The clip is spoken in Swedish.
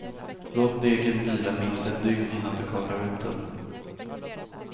Låt degen vila minst ett dygn innan du kavlar ut den.